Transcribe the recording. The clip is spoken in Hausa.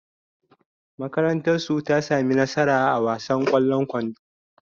Makarantarsu ta sami nasara a wasan ƙwallon kwando.